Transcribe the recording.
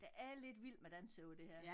Der er lidt Vild Med Dans over det her